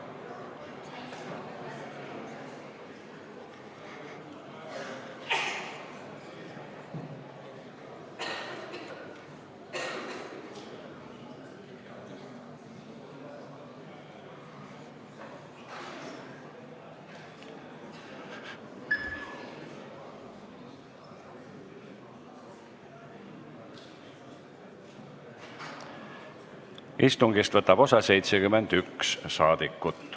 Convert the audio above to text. Kohaloleku kontroll Istungist võtab osa 71 saadikut.